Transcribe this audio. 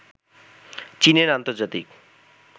চীনের আন্তর্জাতিক